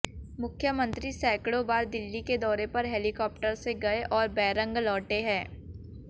मुख्यमंत्री सैकड़ों बार दिल्ली के दौरे पर हेलिकाप्टर से गए हैं और बैरंग लौटें हैं